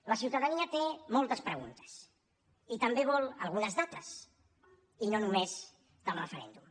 la ciutadania té moltes preguntes i també vol algunes dates i no només del referèndum